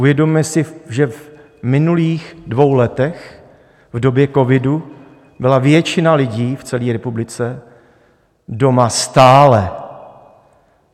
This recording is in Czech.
Uvědomme si, že v minulých dvou letech, v době covidu, byla většina lidí v celé republice doma stále.